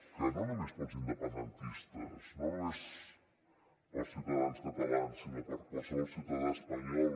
que no només per als independentistes no només per als ciutadans catalans sinó per a qualsevol ciutadà espanyol